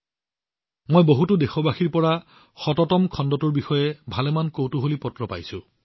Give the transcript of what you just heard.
মই দেশবাসীৰ পৰা বহুতো পত্ৰ পাইছো যত তেওঁলোকে ১০০তম খণ্ডটোৰ বিষয়ে যথেষ্ট অনুসন্ধিৎসুতা প্ৰকাশ কৰিছে